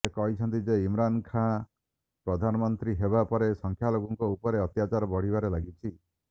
ସେ କହିଛନ୍ତି ଯେ ଇମ୍ରାନ ଖାନ ପ୍ରଧାନମନ୍ତ୍ରୀ ହେବା ପରେ ସଂଖ୍ୟାଲଘୁଙ୍କ ଉପରେ ଅତ୍ୟାଚାର ବଢ଼ିବାରେ ଲାଗିଛି